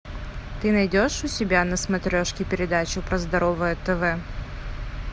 ты найдешь у себя на смотрешке передачу про здоровое тв